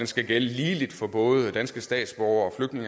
skal gælde ligeligt for både danske statsborgere